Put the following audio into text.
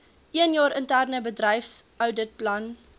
eenjaar interne bedryfsouditplan